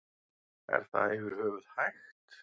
Er það yfir höfuð hægt?